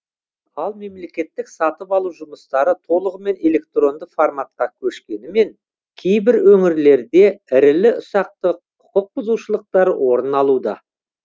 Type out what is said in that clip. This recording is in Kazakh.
ал мемлекеттік сатып алу жұмыстары толығымен электронды форматқа көшкенімен кейбір өңірлерде ірілі ұсақты құқықбұзушылықтар орын алуда